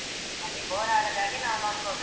ಅದೆ bore ಆಗದಾಗೆ ನಾವ್ ನೋಡ್ಕೋಬೇಕು.